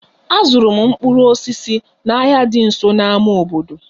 Azụrụ m mkpụrụ osisi n'ahịa dị nso na ámá obodo